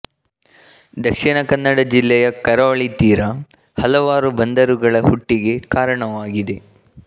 ದಕ್ಷಿಣ ಕನ್ನಡ ಜಿಲ್ಲೆಯ ಕರಾವಳಿ ತೀರ ಹಲವಾರು ಬಂದರುಗಳ ಹುಟ್ಟಿಗೆ ಕಾರಣವಾಗಿದೆ